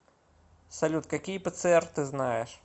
салют какие пцр ты знаешь